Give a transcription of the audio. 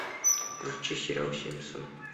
включи сериал симпсоны